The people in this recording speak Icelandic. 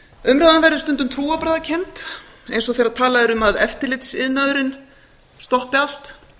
umræðan verður stundum trúarbragðakennd eins og þegar talað er um að eftirlitsiðnaðurinn stoppi allt